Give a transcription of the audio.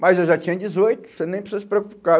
Mas eu já tinha dezoito, você nem precisa se preocupar.